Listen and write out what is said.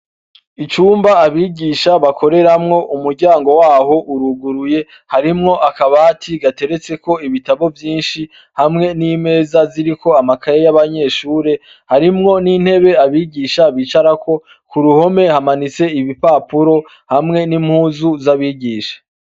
Ibumba abigisha bakoreramwo umuryango waho uruguruye harimwo akabati gateretseko ibitabo vyinshi hamwe nimeza ziriko amakaye yabanyeshure harimwo nintebe abigisha bicarako kuruhome hamanitse ibipapuro hamw nimpuzu zabigisha